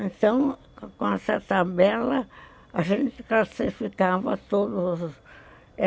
Então, com essa tabela, a gente classificava todos.